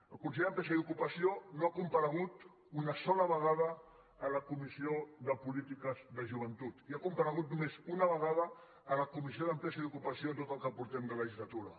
el conseller d’empresa i ocupació no ha comparegut ni una sola vegada en la comissió de polítiques de joventut i ha comparegut només una vegada en la comissió d’empresa i ocupació en tot el que portem de legislatura